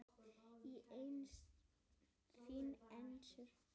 Þín Esther.